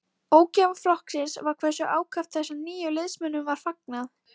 Ógæfa flokksins var hversu ákaft þessum nýju liðsmönnum var fagnað.